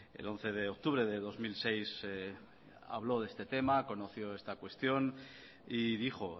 el once de octubre de dos mil seis habló de este tema conoció esta cuestión y dijo